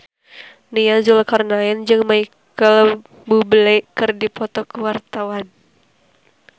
Nia Zulkarnaen jeung Micheal Bubble keur dipoto ku wartawan